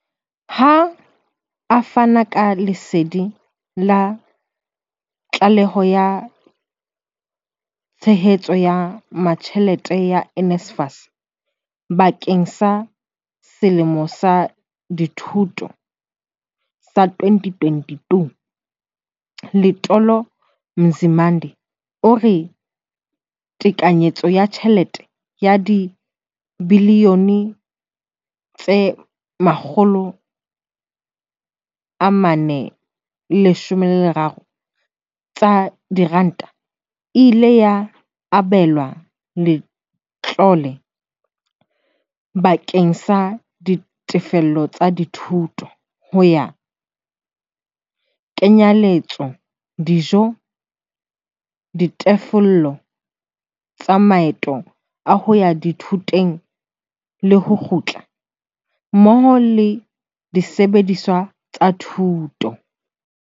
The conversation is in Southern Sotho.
Ha a fana ka lesedi la tlaleho ya tshehetso ya tjhelete ya NSFAS bakeng sa selemo sa dithuto sa 2022, Letona Nzimande o re tekanyetso ya tjhelete ya dibiliyone tse 43 tsa diranta e ile ya abelwa letlole bakeng sa ditefello tsa dithuto, ho kenyeletsa dijo, ditefello tsa maeto a hoya dithutong le ho kgutla, mmoho le disebediswa tsa thuto.